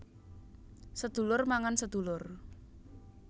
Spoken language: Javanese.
Sedulur mangan sedulur